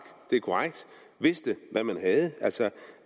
vidste hvad man havde altså